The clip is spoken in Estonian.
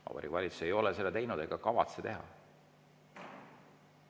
Vabariigi Valitsus ei ole seda teinud ega kavatse teha.